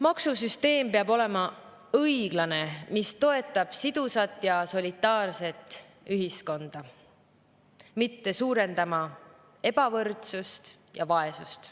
Maksusüsteem peab olema õiglane ja toetama sidusat ja solidaarset ühiskonda, mitte suurendama ebavõrdsust ja vaesust.